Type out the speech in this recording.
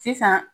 Sisan